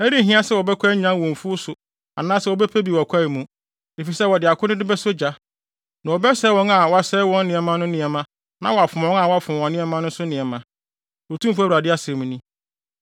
Ɛrenhia sɛ wɔbɛkɔ anyan wɔ mfuw so anaasɛ wɔbɛpɛ bi wɔ kwae mu, efisɛ wɔde akode no bɛsɔ gya. Na wɔbɛsɛe wɔn a wɔsɛe wɔn nneɛma no nneɛma na wɔafom wɔn a wɔfom wɔn nneɛma no nso nneɛma, Otumfo Awurade asɛm ni.